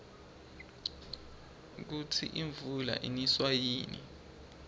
kusi imvula iniswa yini